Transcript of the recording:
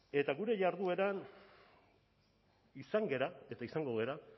eta gure jardueran izan gara eta izango gara